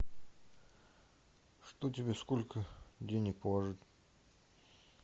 что тебе сколько денег положить